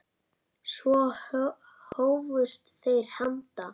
Svo hófust þeir handa.